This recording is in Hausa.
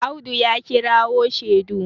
Audu ya kirawo shedu